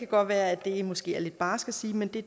godt være at det måske er lidt barsk at sige men det